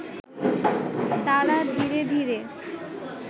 তারা ধীরে ধীরে